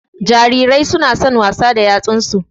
Jarirai su na son wasa da yatsun su